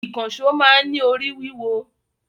Ìkànṣọ́ máa ń ní orí wíwọ